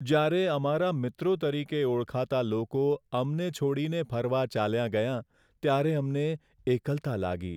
જ્યારે અમારા મિત્રો તરીકે ઓળખાતા લોકો અમને છોડીને ફરવા ચાલ્યાં ગયાં, ત્યારે અમને એકલતા લાગી.